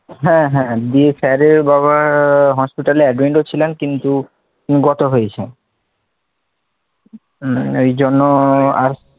হ্যাঁ হ্যাঁ দিয়ে sir এর বাবা hospital এ admit ছিলেন কিন্তু গত হয়েছেন, এই জন্য আর